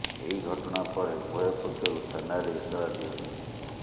ଏହି ଘଟଣା ପରେ ଉଭୟ ପକ୍ଷରୁ ଥାନାରେ ଏତଲା ଦିଆଯାଇଛି